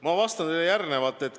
Ma vastan teile järgmiselt.